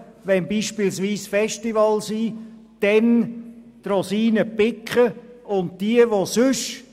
Also zum Beispiel wenn Festivals stattfinden, und sie picken dann die Rosinen.